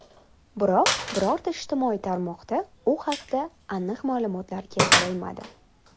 Biroq birorta ijtimoiy tarmoqda u haqda aniq ma’lumotlar keltirilmadi.